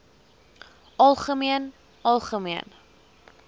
algemeen algemeen